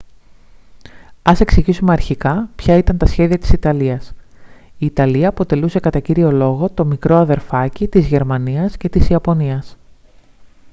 ας εξηγήσουμε αρχικά ποια ήταν τα σχέδια της ιταλίας. η ιταλία αποτελούσε κατά κύριο λόγο το «μικρό αδερφάκι» της γερμανίας και της ιαπωνίας